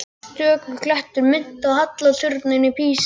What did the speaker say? Stöku klettur minnti á halla turninn í Písa.